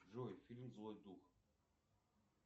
джой фильм злой дух